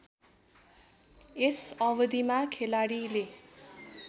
यस अवधिमा खेलाडीले